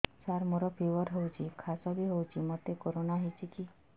ସାର ମୋର ଫିବର ହଉଚି ଖାସ ବି ହଉଚି ମୋତେ କରୋନା ହେଇଚି କି